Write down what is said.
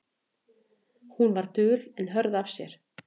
Hún var dul en hörð af sér.